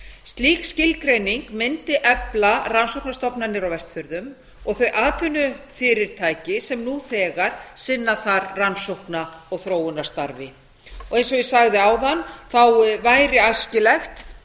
slík skilgreining mundi efla rannsóknastofnanir á vestfjörðum og þau atvinnufyrirtæki sem nú þegar sinna þar rannsókna og þróunarstarfi eins og ég sagði áðan væri æskilegt